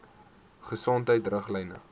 gesondheidriglyne